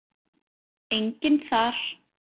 Enginn þar.